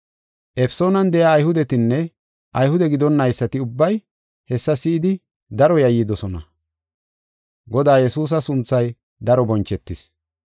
Efesoonan de7iya Ayhudetinne Ayhude gidonnaysati ubbay hessa si7idi daro yayyidosona. Godaa Yesuusa sunthay daro bonchetis.